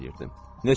Mən isə əməl eləyirdim.